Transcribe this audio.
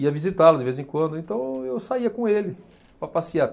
Ia visitá-lo de vez em quando, então eu saía com ele, para passear.